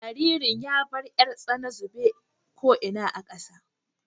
Jaririn ya bar 'yar tsana zube ko ina a ƙasa.